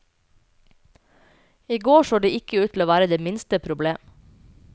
I går så ikke det ut til å være det minste problem.